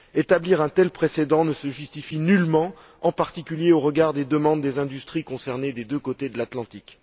Établir un tel précédent ne se justifie nullement, en particulier au regard des demandes des industries concernées des deux côtés de l'Atlantique.